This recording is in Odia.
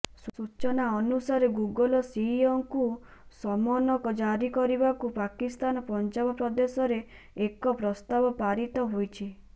ସୂଚନା ଅନୁସାରେ ଗୁଗଲ୍ ସିଇଓଙ୍କୁ ସମନ୍ ଜାରି କରିବାକୁ ପାକିସ୍ତାନ ପଞ୍ଜାବ ପ୍ରଦେଶରେ ଏକ ପ୍ରସ୍ତାବ ପାରିତ ହୋଇଛି